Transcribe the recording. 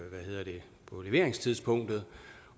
på leveringstidspunktet